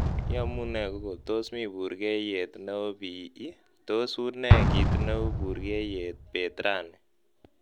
iyomunee google tos mii burgeiyet neo bii ii tos unee kiit neu buryeiyet beet rani